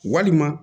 Walima